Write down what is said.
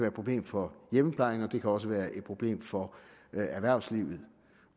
et problem for hjemmeplejen og det kan også være et problem for erhvervslivet